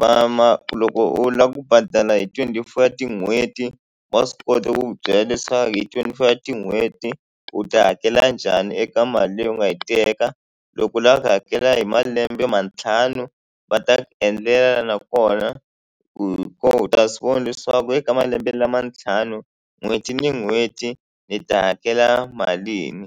va ma loko u lava ku badala hi twenty four ya tin'hweti wa swi kota ku ku byela leswaku hi twenty four wa tin'hweti u ta hakela njhani eka mali leyi u nga yi teka loko u lava ku hakela hi malembe mantlhanu va ta ku endlela nakona u hi kona u ta swi vona leswaku eka malembe lama ntlhanu n'hweti ni n'hweti ni ta hakela malini.